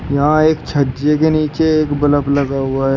यहां एक छज्जे के नीचे एक बल्ब लगा हुआ है।